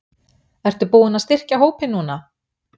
Ertu búinn að styrkja hópinn núna?